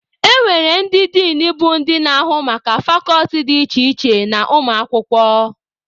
E nwere ndị Din bụ ndị na-ahụ maka fakọlti dị iche iche na ụmụ akwụkwọ.